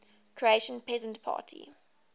croatian peasant party